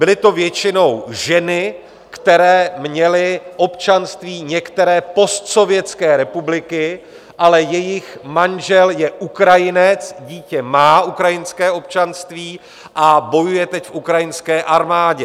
Byly to většinou ženy, které měly občanství některé postsovětské republiky, ale jejich manžel je Ukrajinec, dítě má ukrajinské občanství a bojuje teď v ukrajinské armádě.